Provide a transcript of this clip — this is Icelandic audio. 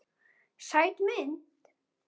Sæt mynd.